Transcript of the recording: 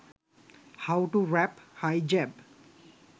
how to wrap hijab